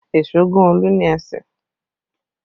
Èso gún Olu ní ẹsẹ̀